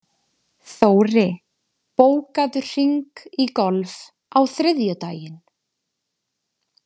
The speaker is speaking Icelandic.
Þóri, bókaðu hring í golf á þriðjudaginn.